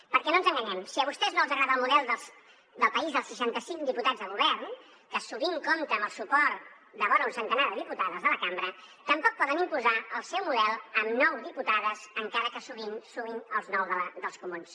perquè no ens enganyem si a vostès no els agrada el model de país dels seixanta cinc diputats de govern que sovint compta amb el suport de vora un centenar de diputades de la cambra tampoc poden imposar el seu model amb nou diputades encara que sovint sumin els vuit dels comuns